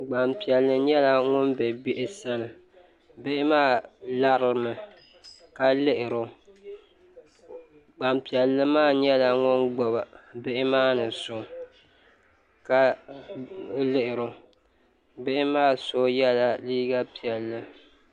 Gban piɛli nyɛla ŋun be bihi sani bihi maa lari o mi ka lihiri o gban piɛlli maa nyɛla ŋun gbubi bihi maani so ka lihiri o bihi maa so ye la liiga piɛlli